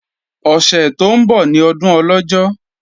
Ọ̀sẹ̀ tó ń bọ̀ ní ọdún Ọlọ́jọ́